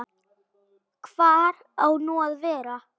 Hvar á nú að vera?